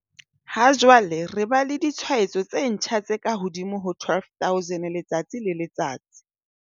Ha jwale re ba le ditshwaetso tse ntjha tse kahodimo ho 12 000 letsatsi le letsatsi.